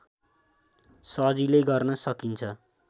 सजिलै गर्न सकिन्छ